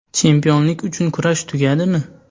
Chempionlik uchun kurash tugadimi?